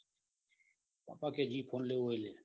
બાપા કે જે ફોન લેવો હોયલે.